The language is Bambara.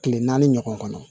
Tile naani ɲɔgɔn kɔnɔ